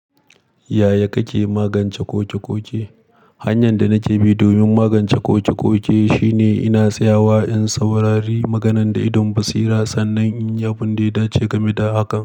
Yaya kake magance koke-koke? Hanyan da nake bi domin magance koke-koke shine ina tsayawa in saurari maganan da idon basira sannan in yi abin da ya dace game da hakan.